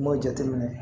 N m'o jateminɛ